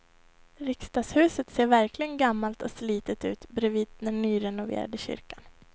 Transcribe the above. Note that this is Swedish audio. Riksdagshuset ser verkligen gammalt och slitet ut bredvid den nyrenoverade kyrkan.